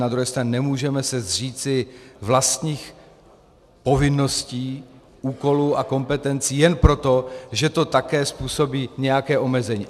Na druhé straně se nemůžeme zříci vlastních povinností, úkolů a kompetencí jen proto, že to také způsobí nějaké omezení.